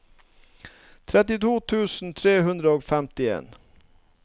trettito tusen tre hundre og femtien